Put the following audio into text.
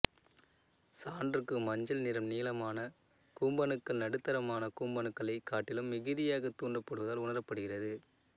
சான்றுக்கு மஞ்சள் நிறம் நீளமான கூம்பணுக்கள் நடுத்தரமான கூம்பணுக்களைக் காட்டிலும் மிகுதியாக தூண்டப்படுவதால் உணரப்படுகிறது